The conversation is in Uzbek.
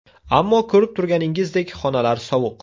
Ammo ko‘rib turganingizdek, xonalar sovuq.